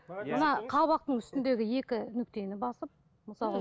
мына қабақтың үстіндегі екі нүктені басып мысалға